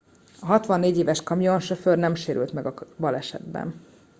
a 64 éves kamionsofőr nem sérült meg a balesetben